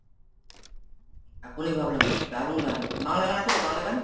এখনই ভাবলাম দারুন গান। বাংলা গান আছে তো? বাংলা গান?